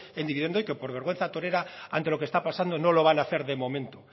en dividendo y que por vergüenza torera ante lo que está pasando no lo van a hacer de momento